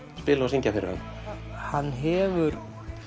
spila og syngja fyrir hann hann hefur